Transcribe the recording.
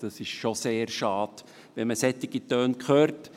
Es ist sehr schade, wenn man solche Töne hört.